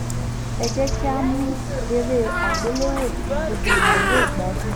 ẹ jẹ́ kí a mú eré àgbéléwò tí gbogbo ènìyàn yóò gbádùn